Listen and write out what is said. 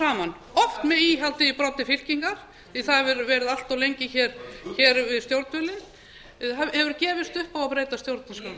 saman oft með íhaldið í broddi fylkingar því það hefur verið allt lengi hér við stjórnvölinn hefur gefist upp á að breyta stjórnarskránni